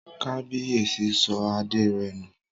Kábíyèsí sọ adé rẹ̀ nù